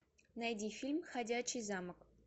найди фильм ходячий замок